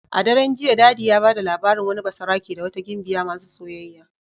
A daren jiya daddy ya bada labarin wani basarake da wata gimbiya masu soyayya.